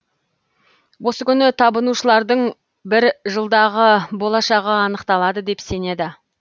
осы күні табынушылардың бір жылдағы болашағы анықталады деп сенеді